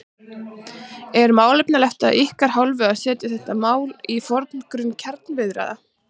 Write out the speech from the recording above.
Er málefnalegt af ykkar hálfu að setja þetta mál í forgrunn kjaraviðræðna?